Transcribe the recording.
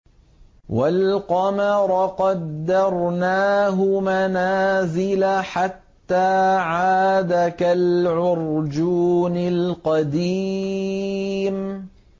وَالْقَمَرَ قَدَّرْنَاهُ مَنَازِلَ حَتَّىٰ عَادَ كَالْعُرْجُونِ الْقَدِيمِ